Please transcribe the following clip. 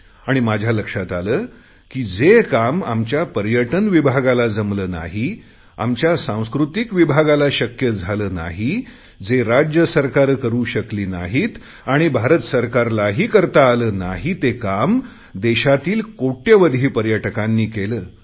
आणि माझ्या लक्षात आले की आपण जे काम आमच्या पर्यटन विभागाला जमले नाही आमच्या सांस्कृतिक विभागाला शक्य झाले नाही जे राज्य सरकारे करु शकली नाहीत आणि भारत सरकारलाही करता आले नाही ते काम देशातील कोटयावधी पर्यटकांनी केले